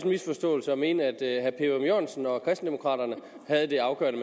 misforståelse at mene at herre per ørum jørgensen og kristendemokraterne havde det afgørende